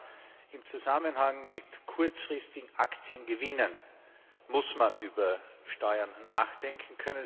Aber im Zusammenhang mit kurzfristigen Aktiengewinnen muss man über Steuern nachdenken.